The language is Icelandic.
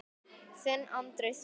Þinn Andri Þór.